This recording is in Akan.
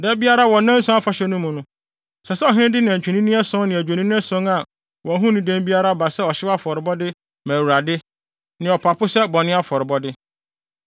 Da biara wɔ nnanson Afahyɛ no mu, ɛsɛ sɛ ɔhene no de nantwinini ason ne adwennini ason a wɔn ho nni dɛm biara ba sɛ ɔhyew afɔrebɔde ma Awurade, ne ɔpapo sɛ bɔne afɔrebɔde.